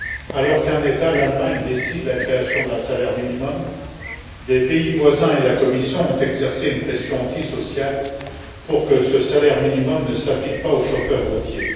Alors qu'un État l'Allemagne décide la création d'un salaire minimum, des pays voisins ainsi que la Commission ont exercé une pression antisociale pour que ce salaire minimum ne s'applique pas aux chauffeurs routiers.